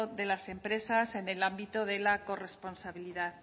de las empresas en el ámbito de la corresponsabilidad